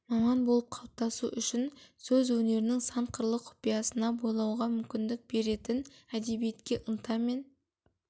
маман болып қалыптасу үшін сөз өнерінің сан қырлы құпиясына бойлауға мүмкіндік беретін әдебиетке ынта мен